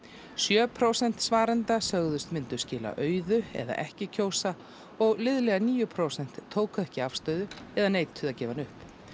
sjö prósent svarenda sögðust myndu skila auðu eða ekki kjósa og liðlega níu prósent tóku ekki afstöðu eða neituðu að gefa hana upp